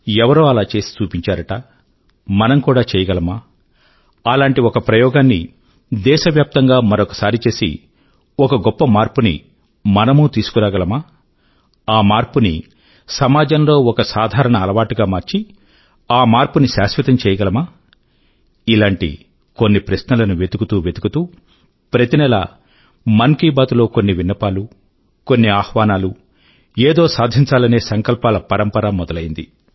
ఎవరో అలా చేసి చూపించారుట మనం కూడా చెయ్యగలమా అలాంటి ఒక ప్రయోగాన్ని దేశవ్యాప్తం గా మరొకసారి చేసి ఒక గొప్ప మార్పుని మనమూ తీసుకు రాగలమా ఆ మార్పుని సమాజం లో ఒక సాధారణ అలవాటుగా మార్చి ఆ మార్పుని శాశ్వతం చేయగలమా ఇలాంటి కొన్ని ప్రశ్నల ను వెతుకుతూ వెతుకుతూ ప్రతి నెలా మన్ కీ బాత్ లో కొన్ని విన్నపాలు కొన్ని ఆహ్వానాలూ ఏదో సాధించాలనే సంకల్పాల పరంపర మొదలైంది